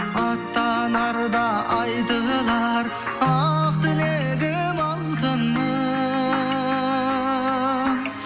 аттанарда айтылар ақ тілегім алтыным